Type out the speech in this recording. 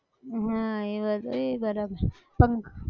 હા એ બધું એય બરાબર છે પંખ